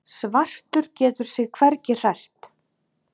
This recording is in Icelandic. Svartur getur sig hvergi hrært.